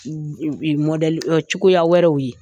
cogoya wɛrɛw ye.